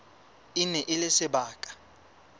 e ne e le sebaka